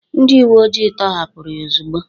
..ndị uweoji tọhapụrụ ha ozugbo